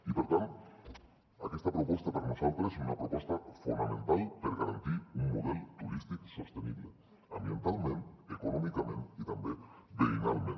i per tant aquesta proposta per a nosaltres és una proposta fonamental per garantir un model turístic sostenible ambientalment econòmicament i també veïnalment